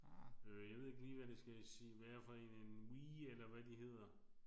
Øh jeg ved ikke lige hvad det skal være for en en Wii eller hvad de hedder